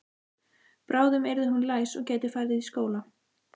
Bráðum yrði hún læs og gæti farið í skóla.